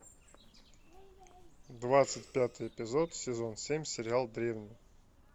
двадцать пятый эпизод сезон семь сериал древние